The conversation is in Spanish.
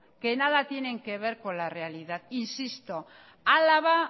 que nada tienen que ver con la realidad insisto álava